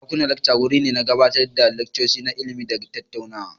Dakunan lacca wuri ne na gabatar da laccoci na ilimi da tattaunawa.